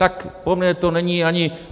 Tak pro mě to není ani...